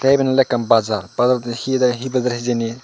iben ole ekkan bazar bazarot hider he bejer hijeni.